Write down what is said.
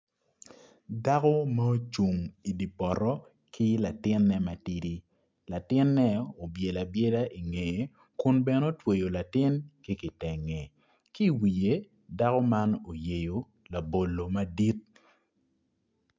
Dako ma ocung idye poto ki latine ma tidi latine obyelo abyela ingeye kun bene otweyo latin ki kitenge ki iwiye dako man oyeyo labolo madit.